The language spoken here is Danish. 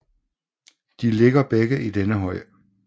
De ligger begge i denne høj